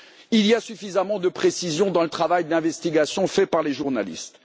Il y a suffisamment de précision dans le travail d'investigation fait par les journalistes.